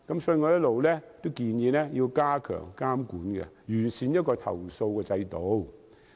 所以，我一直建議加強監管，設立完善的投訴制度。